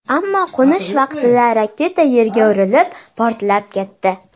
Ammo qo‘nish vaqtida raketa yerga urilib, portlab ketdi.